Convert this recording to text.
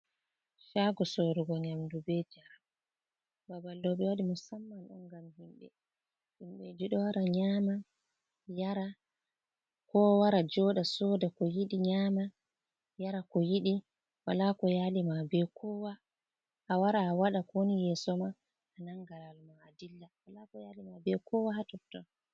Shago sorugo nyamɗu be jaram. Babal ɗo be waɗi musamman on gam himbe. Himbe ɗo wara nyama yara ko wara joɗa soɗa ko yiɗi nyama, yara ko yiɗi. Wala ko yali ma be kowa awara a waɗa ko woni yeso ma a nanga lawol ma a ɗilla wala ko yali ma be kowa ha totton.